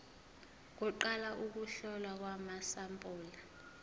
kuqala ukuhlolwa kwamasampuli